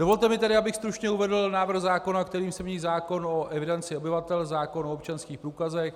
Dovolte mi tedy, abych stručně uvedl návrh zákona, kterým se mění zákon o evidenci obyvatel, zákon o občanských průkazech,